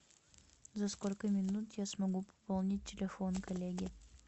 за сколько минут я смогу пополнить телефон коллеги